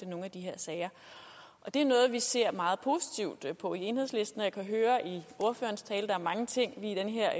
nogle af de her sager og det er noget vi ser meget positivt på i enhedslisten og jeg kan høre i ordførerens tale at der er mange ting i den her